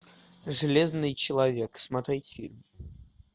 железный человек смотреть фильм